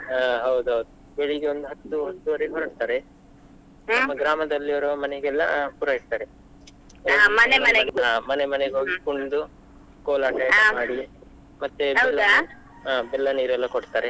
ಹಾ ಹೌದೌದು, ಬೆಳಿಗ್ಗೆ ಒಂದು ಹತ್ತು ಹತ್ತುವರೆಗೆ ಹೊರಡ್ತಾರೆ, ನಮ್ಮ ಗ್ರಾಮದಲ್ಲಿ ಇರುವ ಮನೆಗೆಲ್ಲ ಪೂರೈಸ್ತಾರೆ, ಆ ಮನೆ ಮನೆಗೆ ಹೋಗಿ ಕುಣಿದು, ಕೋಲಾಟ ಎಲ್ಲ ಮಾಡಿ, ಮತ್ತೆ ಹಾ ಬೆಲ್ಲ ನೀರು ಎಲ್ಲಾ ಕೊಡ್ತಾರೆ.